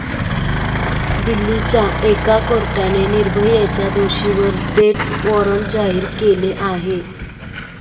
दिल्लीच्या एका कोर्टाने निर्भयाच्या दोषींवर डेथ वॉरंट जारी केले आहे.